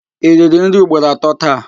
I riri nri ugboro atọ taa?